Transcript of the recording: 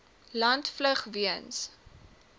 land vlug weens